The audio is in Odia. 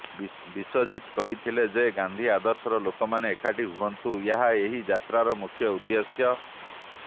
ବିଶ୍ୱଜିତ କହିଥିଲେ ଯେ ଗାନ୍ଧି ଆଦର୍ଶର ଲୋକମାନେ ଏକାଠି ହୁଅନ୍ତୁ ଏହା ଏହି ଯାତ୍ରାର ମୁଖ୍ୟ ଉଦ୍ଧେଶ୍ୟ